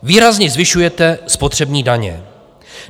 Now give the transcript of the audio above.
Výrazně zvyšujete spotřební daně.